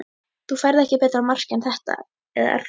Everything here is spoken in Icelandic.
Þú færð ekki betra mark en þetta eða er það?